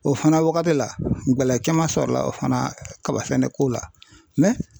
O fana wagati la bɛlɛ caman sɔrɔ la o fana kaba sɛnɛ ko la